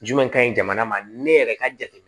Jumɛn ka ɲi jamana ma ne yɛrɛ ka jateminɛ